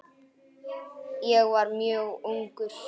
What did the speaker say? Ég var mjög ungur.